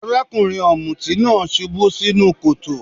Arákùnrin ọ̀mùtí náà subú sínú kòtò.